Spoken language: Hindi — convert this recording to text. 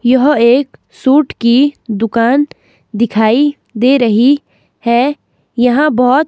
यह एक सूट की दुकान दिखाई दे रही है यहां बहुत--